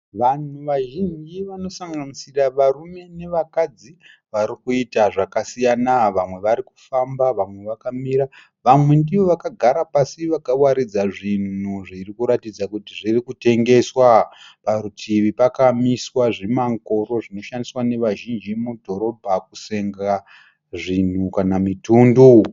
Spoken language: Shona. Vanhu vanhu vazhinji vanosanganisira varume nevakadzi varikuita zvakasiyana. Vamwe varikufamba vamwe vakamira. Vamwe ndivo vakagara pasi vakawaridza zvinhu zviri kuratidza kuti zviri kutengeswa. Parutivi pakamiswa zvimangoro zvinoshandiswa nevazhinji mudhorobha kusenga zvinhu kana mitundu.